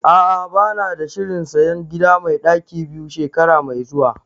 A'ah bana da shirin sayan gida mai ɗaki biyu shekara mai zuwa